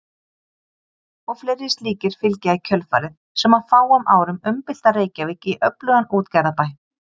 Og fleiri slíkir fylgja í kjölfarið sem á fáum árum umbylta Reykjavík í öflugan útgerðarbæ.